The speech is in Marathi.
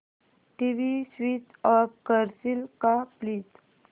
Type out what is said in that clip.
टीव्ही स्वीच ऑफ करशील का प्लीज